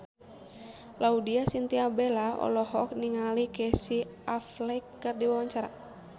Laudya Chintya Bella olohok ningali Casey Affleck keur diwawancara